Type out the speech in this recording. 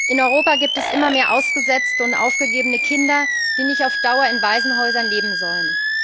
In Europa gibt es immer mehr ausgesetzte und aufgegebene Kinder, die nicht auf Dauer in Waisenhäusern leben sollen.